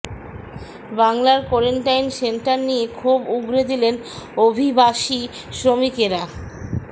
বাংলার quarantine centre নিয়ে ক্ষোভ উগড়ে দিলেন অভিবাসী শ্রমিকেরা